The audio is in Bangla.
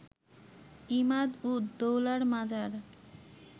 ইমাদ-উদ-দৌলার মাজার